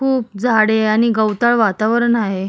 खूप झाडे आणि गवताळ वातावरण आहे.